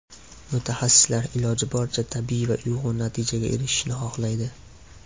Mutaxassislar iloji boricha tabiiy va uyg‘un natijaga erishishni xohlaydi.